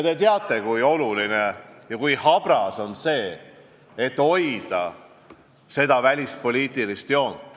Te teate, kui oluline on hoida välispoliitilist joont ja kui habras see kõik on.